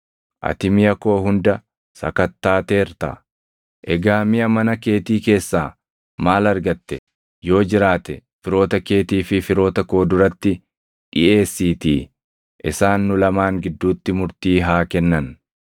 Ati miʼa koo hunda sakattaateerta; egaa miʼa mana keetii keessaa maal argatte? Yoo jiraate firoota keetii fi firoota koo duratti dhiʼeessiitii isaan nu lamaan gidduutti murtii haa kennan.